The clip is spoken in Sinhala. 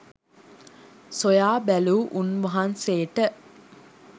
සොයා බැලූ උන්වහන්සේට